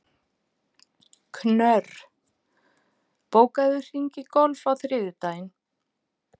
Knörr, bókaðu hring í golf á þriðjudaginn.